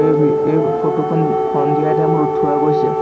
এই ফটো খন সন্ধিয়াৰ টাইম ত উঠোৱা গৈছে।